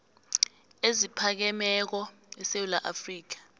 eziphakemeko esewula afrika